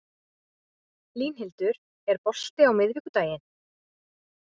Línhildur, er bolti á miðvikudaginn?